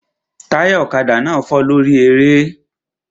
Táyà ọ̀kadà náà fọ́ lórí eré